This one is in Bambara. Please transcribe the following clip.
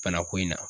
Bana ko in na